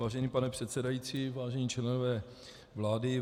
Vážený pane předsedající, vážení členové vlády.